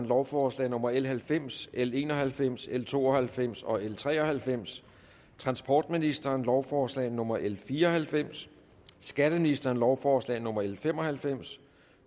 lovforslag nummer l halvfems lovforslag l en og halvfems l to og halvfems og l tre og halvfems transportministeren lovforslag nummer l fire og halvfems skatteministeren lovforslag nummer l fem og halvfems